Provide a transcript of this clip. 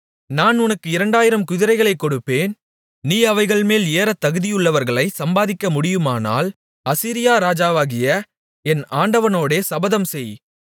நான் உனக்கு இரண்டாயிரம் குதிரைகளைக் கொடுப்பேன் நீ அவைகள்மேல் ஏறத் தகுதியுள்ளவர்களைச் சம்பாதிக்க முடியுமானால் அசீரியா ராஜாவாகிய என் ஆண்டவனோடே சபதம்செய்